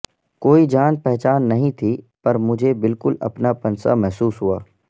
کوئی جان پہچان نہیں تھی پر مجھے بالکل اپنا پن سا محسوس ہوا